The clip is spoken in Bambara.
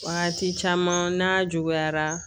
Wagati caman n'a juguyara